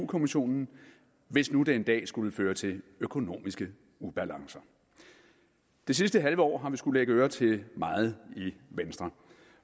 kommissionen hvis nu det en dag skulle føre til økonomiske ubalancer det sidste halve år har vi skullet lægge ører til meget i venstre